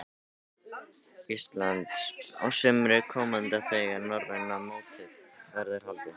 Íslands á sumri komanda þegar norræna mótið verður haldið.